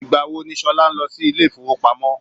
Ìgbà wo ni Ṣolá ń lọ sí ilé ifowopamo?